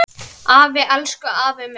Afi, elsku afi minn.